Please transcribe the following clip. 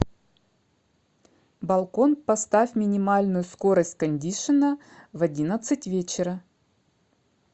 балкон поставь минимальную скорость кондишена в одиннадцать вечера